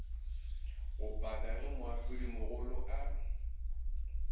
ga paka ge moahlodimogolo a